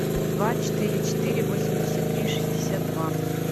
два четыре четыре восемьдесят три шестьдесят два